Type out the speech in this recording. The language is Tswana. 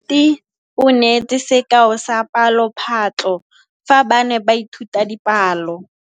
Moithuti o neetse sekaô sa palophatlo fa ba ne ba ithuta dipalo.